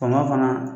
Faama fana